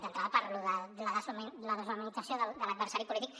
d’entrada per lo de la deshumanització de l’adversari polític